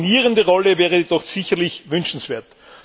Eine koordinierende Rolle wäre jedoch sicherlich wünschenswert.